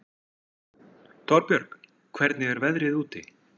Torbjörg, hvernig er veðrið úti?